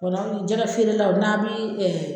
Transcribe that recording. jɛgɛfeerelaw n'a bɛ .